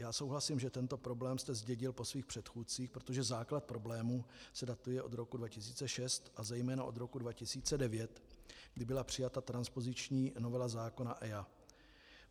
Já souhlasím, že tento problém jste zdědil po svých předchůdcích, protože základ problému se datuje od roku 2006 a zejména od roku 2009, kdy byla přijata transpoziční novela zákona EIA.